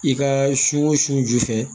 I ka su o su ju fɛ